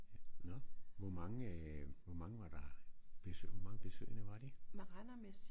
Nåh hvor mange øh hvor mange var der hvor mange besøgende var de?